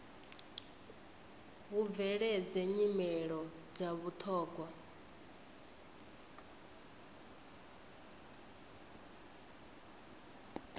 hu bveledze nyimelo dza vhuthogwa